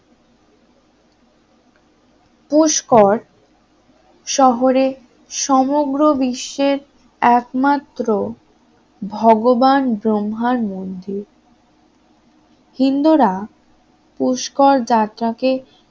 পুষ্কর শহরে সমগ্র বিশ্বের একমাত্র ভগবান ব্রহ্মার মন্দির হিন্দুরা পুষ্কর যাত্রা কে